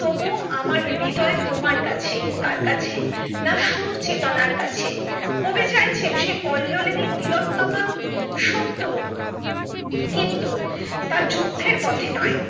আমার হৃদয় তোমার কাছে কার কাছে না সুচেতনার কাছে কবি চাইছেন সে কল্লোলিনী তিলোত্তমা সত্য হোক কিন্তু তা যুদ্ধের পথে নয়